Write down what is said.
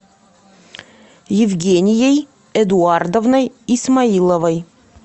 евгенией эдуардовной исмаиловой